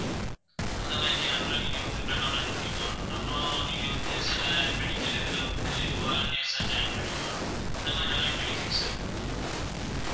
அந்த மாதிரி camp ல நீங்க வந்து blood donate பண்ணிக்கலாம் அப்புறம் நீங்க வந்து சில medical இதுல வந்து volunteers ஆ join பண்ணிக்கலாம் இந்த மாதிரி நிறைய benefits இருக்கு ma'am